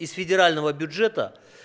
из федерального бюджета